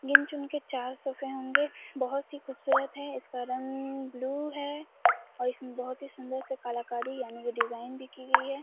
गिन चुन के चार सोफ़े होगें। बहोत ही खूबसूरत है इसका रंग ब्लू है और इसमें बहोत से सुन्दर से कलाकारी यानी डिज़ाइन भी की गयी है।